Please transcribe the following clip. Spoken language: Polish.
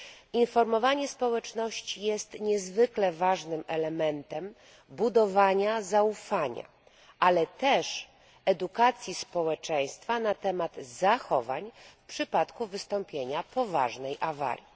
Informowanie społeczności jest niezwykle ważnym elementem budowania zaufania, ale też edukacji społeczeństwa na temat zachowań w przypadku wystąpienia poważnej awarii.